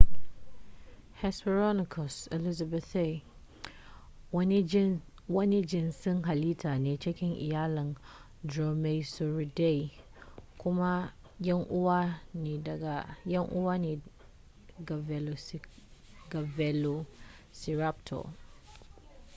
hesperonychus elizabethae wani jinsin halitta ne cikin iyalin dromaeosauridae kuma yan uwa ne ga velociraptor